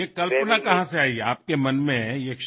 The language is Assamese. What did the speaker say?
আপোনাৰ মনত এই কল্পনাৰ সৃষ্টি কিদৰে হল